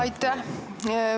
Aitäh!